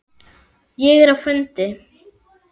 Ég er á fundi